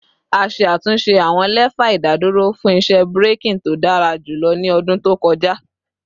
A ṣe atunṣe awọn lefa idaduro fun iṣẹ braking to dara julọ ni ọdun to kọja